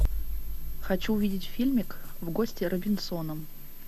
хочу увидеть фильмик в гости к робинсонам